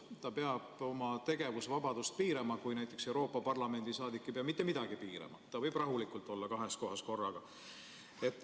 Ta peab oma tegevusvabadust piirama, samas kui näiteks Euroopa Parlamendi saadik ei pea mitte midagi piirama, võib rahulikult olla kahes kohas korraga.